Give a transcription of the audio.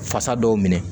Fasa dɔw minɛ